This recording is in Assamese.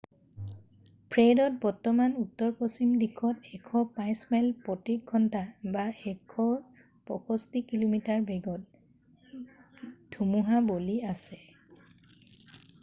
ফ্ৰেডত বৰ্তমান উত্তৰপশ্চিম দিশত 105 মাইল প্ৰতি ঘণ্টা 165 কিমি/ঘ বেগত ধুমুহা বলি আছে।